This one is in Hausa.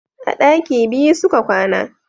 A daki biyu su ka kwana.